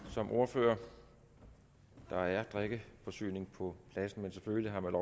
som ordfører der er drikkeforsyning på pladsen men selvfølgelig har man